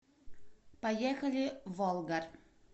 поехали волгарь